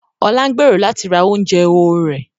Ọlá ń gbèrò láti ra oúnjẹ ehoro rẹ̀